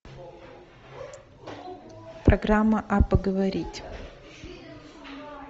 программа а поговорить